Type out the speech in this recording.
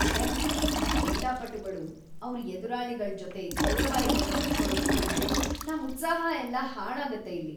ಛೇ! ಈ ಕ್ರೀಡಾಪಟುಗಳು ಅವ್ರ್ ಎದುರಾಳಿಗಳ್ ಜೊತೆ ಗೌರವ ಇಲ್ದಂಗ್‌ ನಡ್ಕೊಳದ್‌ ನೋಡಿದ್ರೆ ನಮ್‌ ಉತ್ಸಾಹ ಎಲ್ಲ ಹಾಳಾಗತ್ತೆ ಇ‌ಲ್ಲಿ.